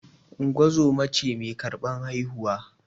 Ungozoma ce mai karɓar haihuwa